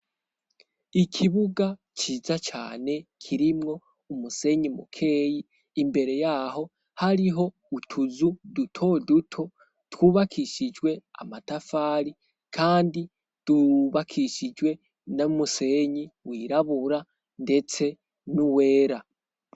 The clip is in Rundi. Ikibuga ciza cyane kirimwo umusenyi mukeyi imbere yaho hariho utuzu duto duto twubakishijwe amatafari kandi twubakishijwe n' umusenyi wirabura ndetse n'uwera.